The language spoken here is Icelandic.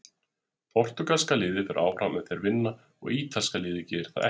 Portúgalska liðið fer áfram ef þeir vinna og ítalska liðið gerir það ekki.